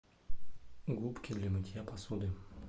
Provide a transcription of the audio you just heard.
губки для мытья посуды